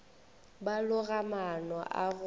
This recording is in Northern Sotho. ba loga maano a go